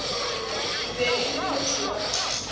be e le motho wa